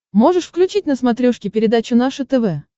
можешь включить на смотрешке передачу наше тв